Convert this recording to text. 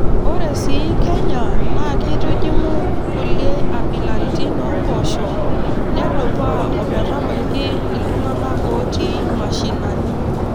Ore sii Kenya naa keitujing'u kulie abilaritin oompoosho nedupaa ometabaiki iltung'ana ootii mashinani.